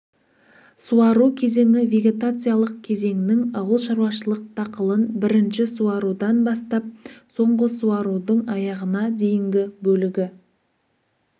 суару кезеңі вегетациялық кезеңнің ауылшаруашылық дақылын бірінші суарудан бастап соңғы суарудың аяғына дейінгі бөлігі